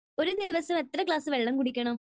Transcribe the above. ഒരു ദിവസം എത്ര ഗ്ലാസ് വെള്ളം കുടിക്കണം?